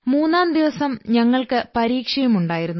മൂന്നാം ദിവസം ഞങ്ങൾക്ക് പരീക്ഷയുണ്ടായിരുന്നു